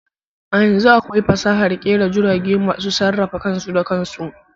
A yanzu akwai fasahar kera jirage masu sarrafa kansu da kansu.